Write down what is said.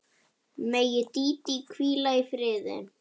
Megi Dídí hvíla í friði.